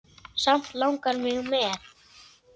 Samt langar mig með.